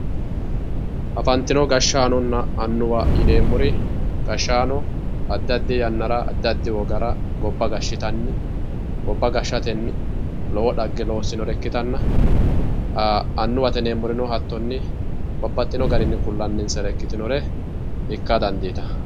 Afantino hashanona anuwwa yinemori hattono adi adi wogara goba gashitani goba gashateni lowo dhage losinoha ikitana anuwate yinemorino hattoni babaxino garini kulanisire ikka danditano.